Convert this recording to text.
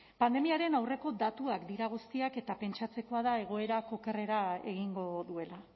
pandemiaren aurreko datuak dira guztiak eta pentsatzekoa da egoerak okerrera egingo duela